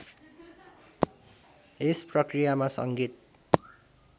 यस प्रक्रियामा सङ्गीत